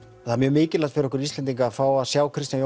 það er mjög mikilvægt fyrir okkur Íslendinga að fá að sjá Kristján